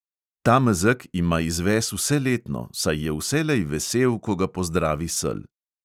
Ta mezeg ima izves vseletno, saj je vselej vesel, ko ga pozdravi sel.